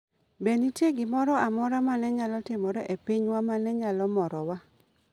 Be nitie gimoro amora ma ne nyalo timore e pinywa ma ne nyalo morowa?